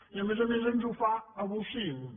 i a més a més ens ho fa a bocins